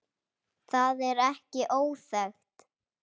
Það er ekki óþekkt.